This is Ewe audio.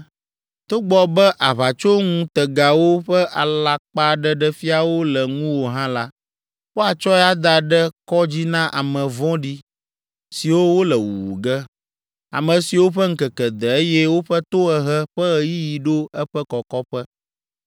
Togbɔ be aʋatsoŋutegawo ƒe alakpaɖeɖefiawo le ŋuwò hã la, woatsɔe ada ɖe kɔ dzi na ame vɔ̃ɖi siwo wole wuwu ge, ame siwo ƒe ŋkeke de, eye woƒe tohehe ƒe ɣeyiɣi ɖo eƒe kɔkɔƒe.